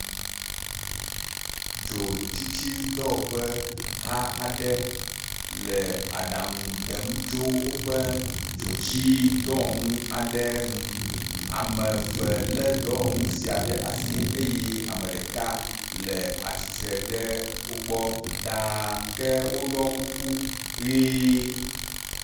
Dzotsitsidɔwɔƒeh aɖe le aɖaŋu ɖem tso woƒe dzotsidɔwɔnu aɖe ŋu. ame eve le dɔwɔnu sia ɖe asi eye ame ɖeka le atsitre ɖe woogbɔ ɖa ke woɖɔ kuku ʋi.